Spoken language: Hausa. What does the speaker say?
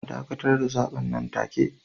A dakatar da zaben nan take